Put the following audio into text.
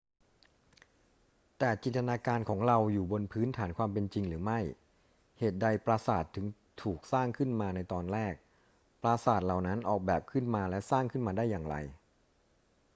แต่จินตนาการของเราอยู่บนพื้นฐานความเป็นจริงหรือไม่ เหตุใดปราสาทจึงถูกสร้างขึ้นมาในตอนแรก ปราสาทเหล่านั้นออกแบบขึ้นมาและสร้างขึ้นมาได้อย่างไร